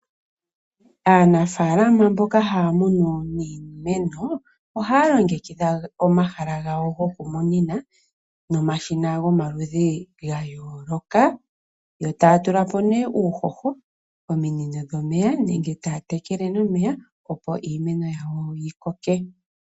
Aanafaalama mboka haya munu iimeno ohaya longekidha omahala gawo goku munina momashina gomaludhi ga yooloka. Yo taya tulamo nee uuhoho, ominino dhomeya nenge taya tekele nomeya opo iimeno yawo yi koke.